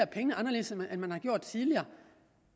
pengene anderledes end man har gjort tidligere og